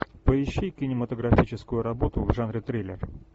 поищи кинематографическую работу в жанре триллер